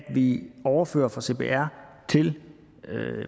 vi overfører fra cpr til